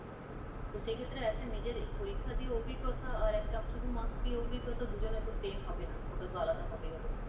তো সেক্ষেত্রে একটা নিজের পরিক্ষা দিয়েও অভিজ্ঞতা আর শুধু marks দিয়ে অভিজ্ঞতা দুজনের তো same হবে না, ওটাতো আলাদা হবে